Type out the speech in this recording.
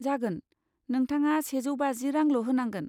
जागोन, नोंथाङा सेजौ बाजि रांल' होनांगोन।